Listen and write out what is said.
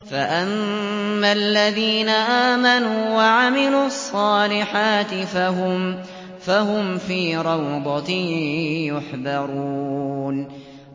فَأَمَّا الَّذِينَ آمَنُوا وَعَمِلُوا الصَّالِحَاتِ فَهُمْ فِي رَوْضَةٍ يُحْبَرُونَ